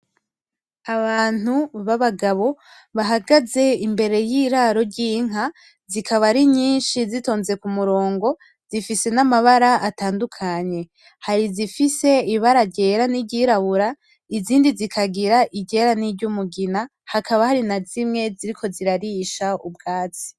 Abantu b'abagabo bahagaze imbere y'iraro ry'inka zikaba ari nyinshi zitonze kumurongo zifise n'amabara atandukanye, hari izifise ibara ryera n'iryirabura izindi zikagira iryera n'iryumugina hakaba hari na zimwe ziriko zirarisha ubwatsi.